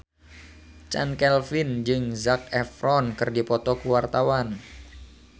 Chand Kelvin jeung Zac Efron keur dipoto ku wartawan